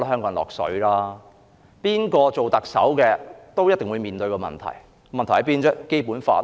無論誰當特首，都會面對問題，問題就在《基本法》。